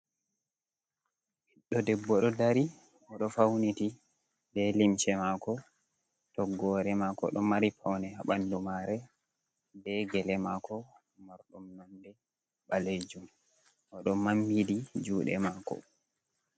Ɓiɗɗo debbo ɗo dari, o ɗo fauniti be limce mako, toggore mako ɗo mari paune ha bandu mare be gele mako mardum nonde ɓalejum, oɗo mammiɗi juɗe mako.